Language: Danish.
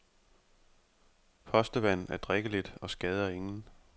Postevand er drikkeligt og skader ingen.